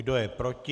Kdo je proti?